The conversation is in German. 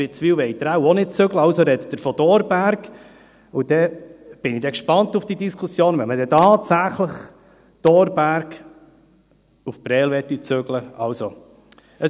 Witzwil wollen Sie wohl auch nicht zügeln, also sprechen Sie vom Thorberg, und dann bin ich gespannt auf die Diskussion, wenn man dann tatsächlich den Thorberg nach Prêles zügeln möchte.